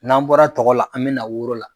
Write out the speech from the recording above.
N'an bɔra tɔgɔ la an bɛ na woro la.